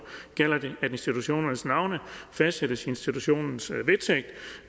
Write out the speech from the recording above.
gælder det at institutionernes navne fastsættes i institutionens vedtægt